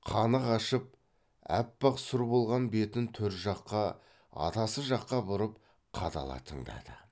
қаны қашып аппақ сұр болған бетін төр жаққа атасы жаққа бұрып қадала тыңдады